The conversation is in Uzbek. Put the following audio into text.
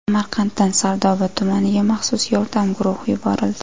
Samarqanddan Sardoba tumaniga maxsus yordam guruhi yuborildi.